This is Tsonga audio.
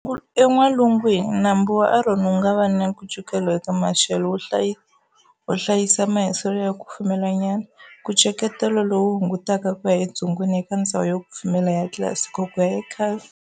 En'walungwini, nambu wa Arno wunga va na nkucetelo eka maxelo, wu hlayisa mahiselo ya kufumela nyana, nkucetelo lowu hungutaka kuya edzongeni eka ndzhawu yo kufumela ya Classico kuya eCastel.